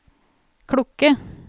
klokke